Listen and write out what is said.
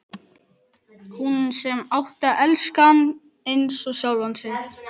Hún sem átti að elska hann eins og sjálfa sig.